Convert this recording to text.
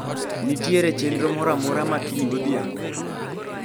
Nitiere chenro moro amora ma kiny godhiambo